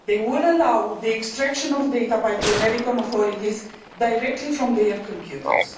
They will allow the extraction of data by the American authorities directly from their computers.